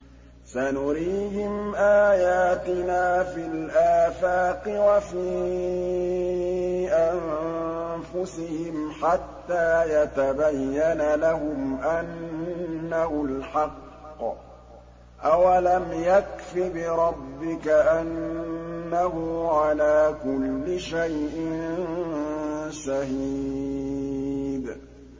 سَنُرِيهِمْ آيَاتِنَا فِي الْآفَاقِ وَفِي أَنفُسِهِمْ حَتَّىٰ يَتَبَيَّنَ لَهُمْ أَنَّهُ الْحَقُّ ۗ أَوَلَمْ يَكْفِ بِرَبِّكَ أَنَّهُ عَلَىٰ كُلِّ شَيْءٍ شَهِيدٌ